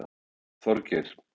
Þorgeir